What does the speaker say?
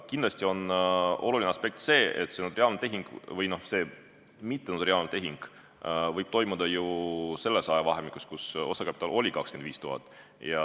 Kindlasti on oluline aspekt see, et see mittenotariaalne tehing võib toimuda ju selles ajavahemikus, kui osakapital on 25 000.